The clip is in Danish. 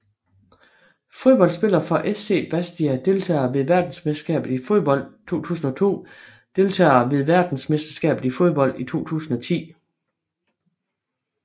Fodboldspillere fra SC Bastia Deltagere ved verdensmesterskabet i fodbold 2002 Deltagere ved verdensmesterskabet i fodbold 2010